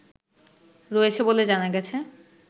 রয়েছে বলে জানা গেছে